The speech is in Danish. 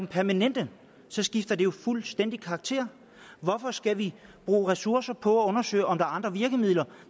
permanente skifter det jo fuldstændig karakter hvorfor skal vi bruge ressourcer på at undersøge om der er andre virkemidler